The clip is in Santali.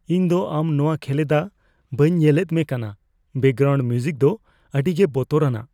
ᱤᱧ ᱫᱚ ᱟᱢ ᱱᱚᱣᱟ ᱠᱷᱮᱞᱮᱫᱟ ᱵᱟᱹᱧ ᱧᱮᱞᱮᱫ ᱢᱮ ᱠᱟᱱᱟ ᱾ ᱵᱮᱠᱜᱨᱟᱣᱩᱱᱰ ᱢᱤᱣᱡᱤᱠ ᱫᱚ ᱟᱹᱰᱤᱜᱮ ᱵᱚᱛᱚᱨᱟᱱᱟᱜ !